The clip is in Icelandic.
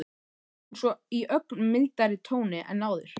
spyr hún svo í ögn mildari tóni en áður.